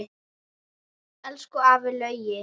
Elsku afi Laugi.